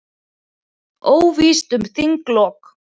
Óvíst um þinglok